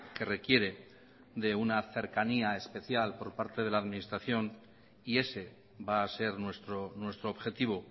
que requiere de una cercanía especial por parte de la administración y ese va a ser nuestro objetivo